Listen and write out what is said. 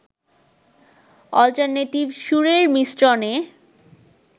alternative সুরের মিশ্রণে